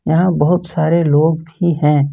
यहां बहुत सारे लोग भी हैं।